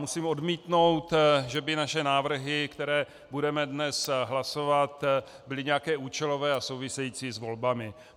Musím odmítnout, že by naše návrhy, které budeme dnes hlasovat, byly nějaké účelové a související s volbami.